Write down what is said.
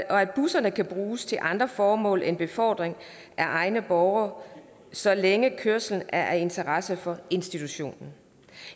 at busserne kan bruges til andre formål end befordring af egne borgere så længe kørslen er af interesse for institutionen